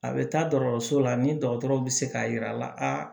A bɛ taa dɔgɔtɔrɔso la ni dɔgɔtɔrɔw bɛ se k'a yira a la